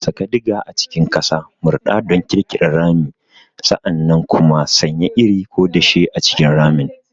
Saka diger a cikin ƙasa, murɗa don ƙirƙirar rami, sa'an nan kuma sanya iri ko dashe a cikin ramin.